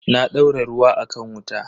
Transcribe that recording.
Na daura ruwa a kan wuta.